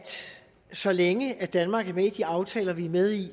så længe danmark er med i de aftaler vi er med i